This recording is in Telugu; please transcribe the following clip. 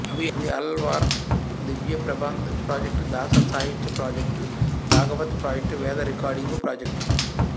అవి Alvar Divya Prabandha project Dasa Sahitya project Bhagavata project Veda recording project